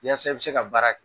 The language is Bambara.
Yaasa i be se ka baara kɛ.